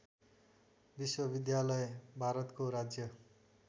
विश्वविद्यालय भारतको राज्य